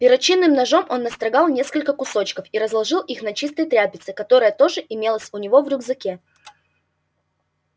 перочинным ножом он настрогал несколько кусочков и разложил их на чистой тряпице которая тоже имелась у него в рюкзаке